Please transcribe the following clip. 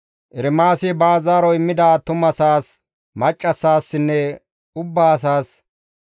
Ermaasi baas zaaro immida attumasaas, maccassinne ubbaa asaas,